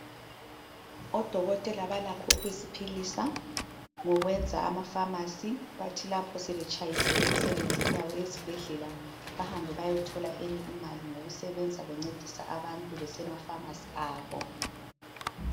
Odokotela balakho ukuziphilisa ngokwenza amafamasi bathi lapho sebetshayisile emisebenzini yabo yesibhedlela bahambe bayethola eyinye imali ngokusebenza bencedisa abantu besemafamasi abo.